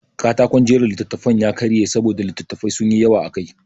Katakon jera littattafan ya karye saboda littattafai sun yi yawa akai.